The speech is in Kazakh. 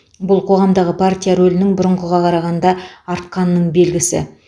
бұл қоғамдағы партия рөлінің бұрынғыға қарағанда артқанының белгісі